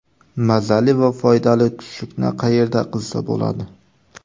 Mazali va foydali tushlikni qayerda qilsa bo‘ladi?